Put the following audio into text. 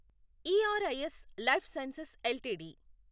ERIS life sciences LTD